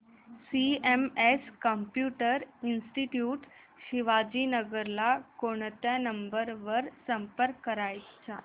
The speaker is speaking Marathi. सीएमएस कम्प्युटर इंस्टीट्यूट शिवाजीनगर ला कोणत्या नंबर वर संपर्क करायचा